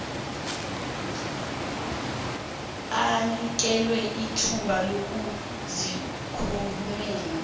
anikelwe ithuba lokuzikhulumela